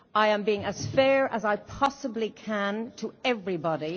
I am being as fair as I possibly can to everybody.